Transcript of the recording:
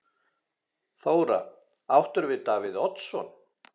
Þóra: Áttirðu við Davíð Oddsson?